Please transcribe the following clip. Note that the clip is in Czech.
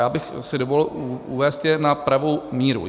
Já bych si dovolil uvést je na pravou míru.